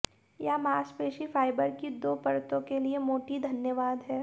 यह मांसपेशी फाइबर की दो परतों के लिए मोटी धन्यवाद है